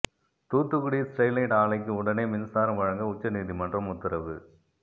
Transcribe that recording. Thoothukudi Sterlite ஆலைக்கு உடனே மின்சாரம் வழங்க உச்ச நீதிமன்றம் உத்தரவு